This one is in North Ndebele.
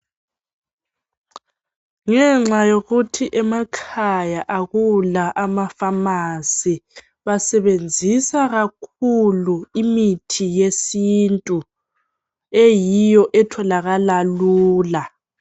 Ngenxa yokuthi emakhaya akula amafamasi basebenzisa kakhulu imithi yesintu eyiyo etholakala lula.